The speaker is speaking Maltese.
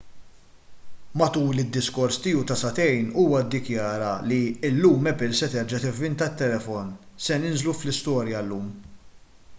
matul id-diskors tiegħu ta' sagħtejn huwa ddikjara li illum apple se terġa' tivvinta t-telefon se ninżlu fl-istorja llum